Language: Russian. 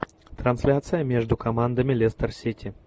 трансляция между командами лестер сити